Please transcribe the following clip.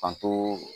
An to